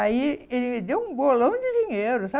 Aí, ele deu um bolão de dinheiro,